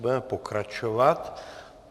Budeme pokračovat.